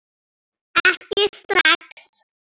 Ekki strax!